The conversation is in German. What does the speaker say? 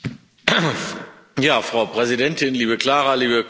Frau Präsidentin, liebe Klára, liebe Kolleginnen und Kollegen!